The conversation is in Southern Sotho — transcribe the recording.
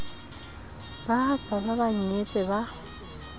bahatsa ha ba nyetse ba